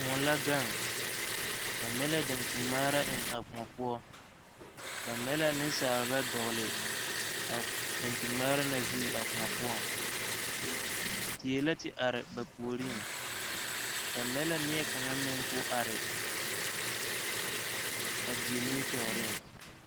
Koɔ la gaŋ ba mɛ la daŋkyin ŋmaara eŋ a koɔ poɔ ba mɛ la nensaaba a dogli a daŋkyin ŋmaara na zuŋ a koɔ poɔŋ die la te are ba puoreŋ ba mɛ la neɛ kaŋa meŋ koo are a die nimitɔɔreŋ.